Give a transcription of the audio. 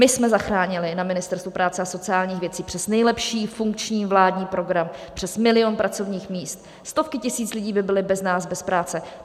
My jsme zachránili na Ministerstvu práce a sociálních věcí přes nejlepší funkční vládní program přes milion pracovních míst, stovky tisíc lidí by byly bez nás bez práce.